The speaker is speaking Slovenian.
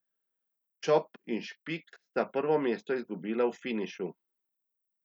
Čop in Špik sta prvo mesto izgubila v finišu.